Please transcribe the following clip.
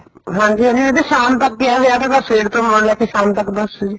ਹਾਂਜੀ ਹਾਂਜੀ ਸ਼ਾਮ ਤੱਕ ਈ ਏ ਵਿਆਹ ਸਵੇਰ ਤੋਂ ਲੈ ਕੇ ਸ਼ਾਮ ਤੱਕ ਦਾ ਸੀ